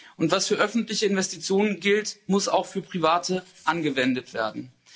Und was für öffentliche Investitionen gilt, muss auch für private angewendet werden.